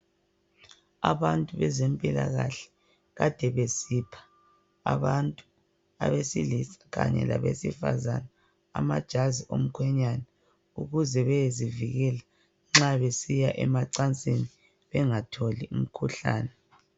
Abantu bezempilakahle kade besipha abantu besilisa labesifazane amajazi omkhwenyana ukuze beyezivikela nxa besiya emacansini bengatholi umkhuhlani